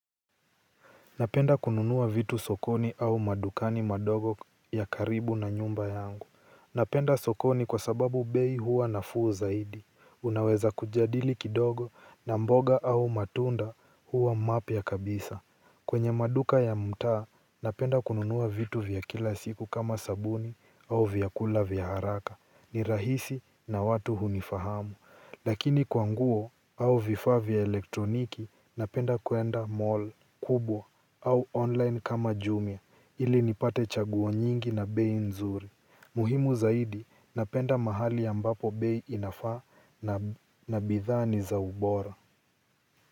Napenda kununua vitu sokoni au madukani madogo ya karibu na nyumba yangu. Napenda sokoni kwasababu bei huwa nafuu zaidi. Unaweza kujadili kidogo na mboga au matunda huwa mapya kabisa. Kwenye maduka ya mtaa, napenda kununua vitu vya kila siku kama sabuni au vyakula vya haraka. Ni rahisi na watu hunifahamu. Lakini kwa nguo au vifaa vya elektroniki napenda kuenda mall kubwa au online kama jumia ili nipate chaguo nyingi na bei nzuri. Muhimu zaidi napenda mahali ambapo bei inafaa na bidhaa ni za ubora.